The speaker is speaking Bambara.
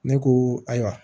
Ne ko ayiwa